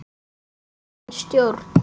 Almenn stjórn.